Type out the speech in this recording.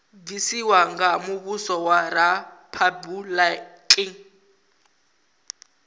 bvisiwa nga muvhuso wa riphabuliki